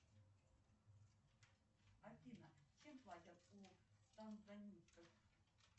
салют сири узнать остаток карты ноль четыре тридцать